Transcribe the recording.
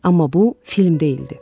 Amma bu film deyildi.